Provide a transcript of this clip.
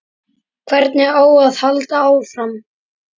Hvernig á að halda áfram?